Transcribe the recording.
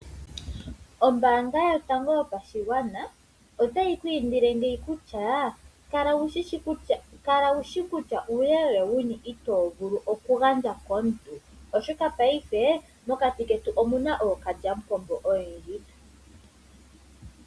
Ombaanga yotango yopashigwana ota yi ku indile ngeyi kutya, kala wushi kutya uuyelele wuni itoo vulu okugandja komuntu, oshoka paife mokati ketu omu na ookalyamupombo oyendji.